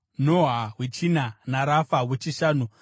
Noha wechina naRafa wechishanu.